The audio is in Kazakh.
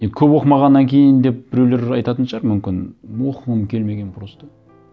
енді көп оқымағаннан кейін деп біреулер айтатын шығар мүмкін оқығым келмеген просто